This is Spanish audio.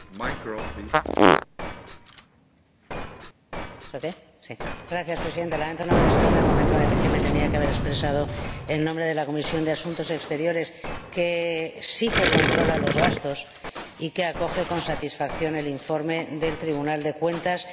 Señor Presidente, lamento no haber estado en el momento en que me tenía que haber expresado en nombre de la Comisión de Asuntos Exteriores, que sí que controla los gastos y que acoge con satisfacción el informe del Tribunal de Cuentas y hace apenas algunas observaciones que tienen que ver, básicamente,